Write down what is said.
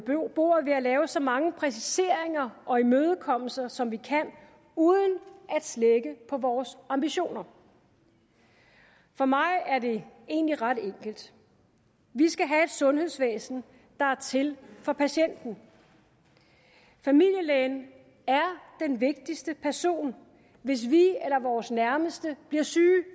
bordet ved at lave så mange præciseringer og imødekommelser som vi kan uden at slække på vores ambitioner for mig er det egentlig ret enkelt vi skal have et sundhedsvæsen der er til for patienten familielægen er den vigtigste person hvis vi eller vores nærmeste bliver syge